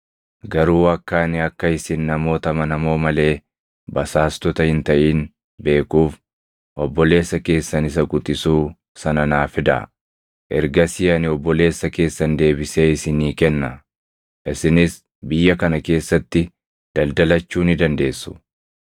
Garuu akka ani akka isin namoota amanamoo malee basaastota hin taʼin beekuuf obboleessa keessan isa quxisuu sana naa fidaa. Ergasii ani obboleessa keessan deebisee isinii kenna; isinis biyya kana keessatti daldalachuu ni dandeessu.’ ”